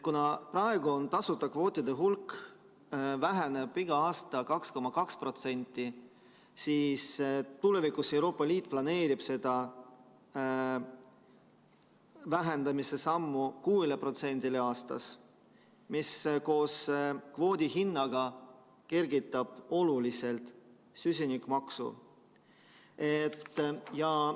Kui praegu tasuta kvootide hulk väheneb iga aasta 2,2%, siis tulevikus Euroopa Liit planeerib seda vähendamise sammu 6%-le aastas, mis koos kvoodi hinnaga kergitab oluliselt süsinikumaksu.